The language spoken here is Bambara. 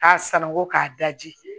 K'a sananko k'a daji